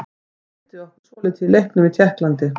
Hann stríddi okkur svolítið í leiknum í Tékklandi.